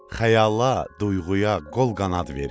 Xəyala, duyğuya qol qanad verir.